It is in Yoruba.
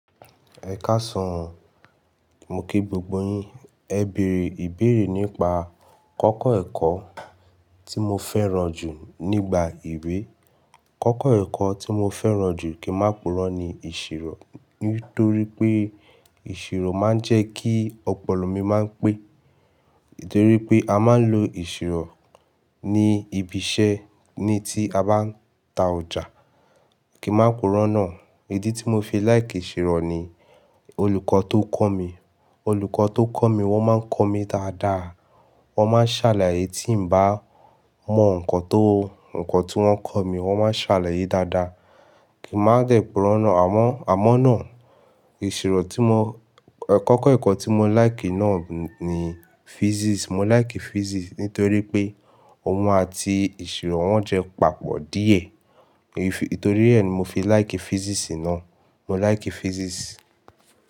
Ẹ káṣan, mo kí gbogbo yín. Ẹ bèèrè ìbéèrè nípa kọ́kọ́ ẹ̀kọ́ tí mo fẹ́ràn jù nígbà ìwé. Kọ́kọ́ ẹ̀kọ́ tí mo fẹ́ràn jù kí máa purọ́ ni ìṣirò, nítorí pé ìṣirò máa ń jẹ́ kí ọpọlọ mi máa ń pé. Nítorí pé a máa ń lo ìṣirò ní ibi iṣẹ́ ní tí a bá ń ta ọjà. Kí máa purọ́ náà, idi tí mo fi láìkì ìṣirò ni olùkọ́ tó kọ́ mi. Olùkọ́ tó kọ́ mi wọ́n máa ń kọ́ mi dáadáa, wọ́n máa ń ṣàlàyé tí ń bá mọ nǹkan tó, nǹkan tí wọ́n kọ́ mi wọ́n máa ń ṣàlàyé dáadáa. Kí máa dẹ̀ purọ́ náà, àmọ́, àmọ́ náà ìṣirò tí mo, kọ́kọ́ ẹ̀kọ́ tí mo láìkì náà ni Physics. Mo láìkì Physics nítorí pé òun àti ìṣirò wọ́n jẹ́ papọ̀ díẹ̀. Èyí, nítorí rẹ̀ ni mo fi láìkì Physics náà. Mo láìkì Physics.